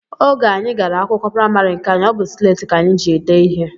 Oge anyị gara akwụkwọ praịmarị nke anyị, ọ bụ sleeti ka anyị ji dee ihe